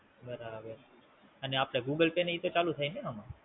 બરાબર. અને આપડે Google pay ને ઈ તો ચાલુ થાય ને આમાં?